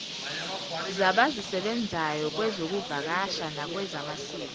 zabazisebenzayo kwezokuvakasha nakwezamasiko